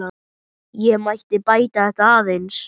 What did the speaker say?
Ég mætti bæta þetta aðeins.